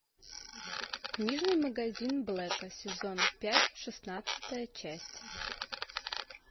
книжный магазин блэка сезон пять шестнадцатая часть